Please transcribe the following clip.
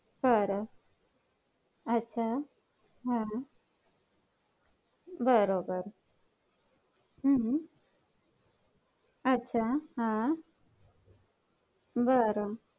तर पुढच्या काही वर्षांत भारत हा चीनला मागे टाकून जगातील सर्वात मोठी लोकसंख्या आसलेला देश हा बनायला जात आहे.